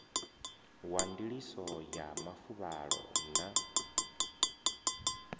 wa ndiliso ya mafuvhalo na